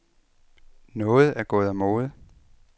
Noget er gået af mode.